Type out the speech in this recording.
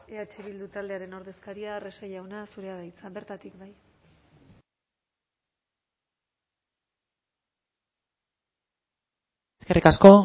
eh bildu taldearen ordezkaria arrese jauna zurea da hitza bertatik bai eskerrik asko